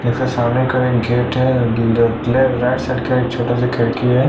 जैसे सामने करेंगे गेट है ले राइट साइड का छोटा सा खिड़की है।